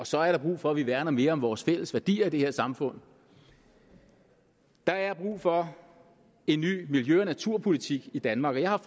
så er der brug for at vi værner mere om vores fælles værdier i det her samfund der er brug for en ny miljø og naturpolitik i danmark og jeg har